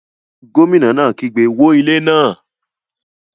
Gómìnà náà kígbe 'wó ilé náà'